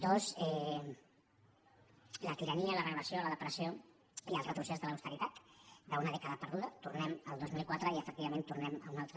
dos la tirania la regulació la depressió i el retrocés de l’austeritat d’una dècada perduda tornem al dos mil quatre i efectivament tornem a una altra